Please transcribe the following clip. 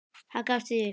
Hann gafst því upp.